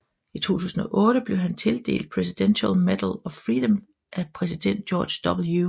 I 2008 blev han tildelt Presidential Medal of Freedom af præsident George W